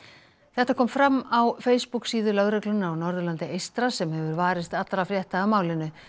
þetta kom fram á Facebook síðu lögreglunnar á Norðurlandi eystra sem hefur varist allra frétta af málinu